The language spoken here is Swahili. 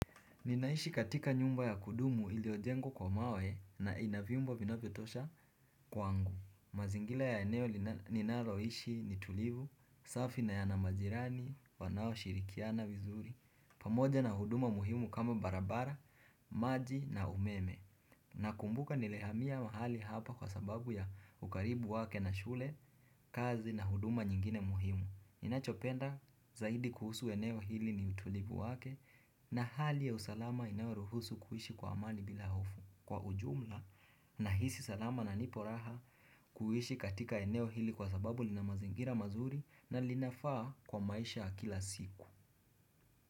Ninaishi katika nyumba ya kudumu ili ojengwa kwa mawe na inavyombo vina vyo tosha kw angu. Mazingila ya eneo ninaloishi ni tulivu, safi na yanamajirani, wanao shirikiana vizuri, pamoja na huduma muhimu kama barabara, maji na umeme. Na kumbuka nilehamia mahali hapa kwa sababu ya ukaribu wake na shule, kazi na huduma nyingine muhimu. Ninachopenda zaidi kuhusu eneo hili ni utulivu wake na hali ya usalama inayoruhusu kuishi kwa amani bila hofu kwa ujumla na hisi salama na nipo raha kuhishi katika eneo hili kwa sababu linamazingira mazuri na linafaa kwa maisha akila siku.